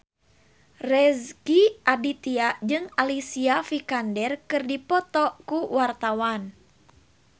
Rezky Aditya jeung Alicia Vikander keur dipoto ku wartawan